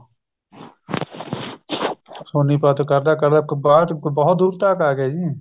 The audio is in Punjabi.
ਸੋਨੀਪਤ ਕਰਦਾ ਕਰਦਾ ਬਹੁਤ ਦੂਰ ਤੱਕ ਏ ਗਏ ਜੀ